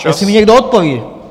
Jestli mi někdo odpoví!